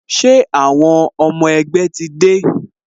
Ṣé àwọn ọmọ ẹgbẹ́ ti dé?